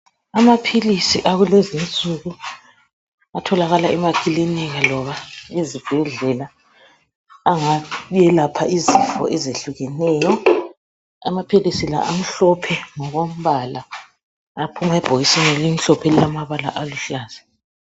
Amaphilisi akulezi nsuku atholakala emakilinika loba ezibhedlela angayelapha izifo ezehlukeneyo amaphilisi la amhlophe ngokombala aphuma ebhokisini elimhlophe elilamabala aluhlaza.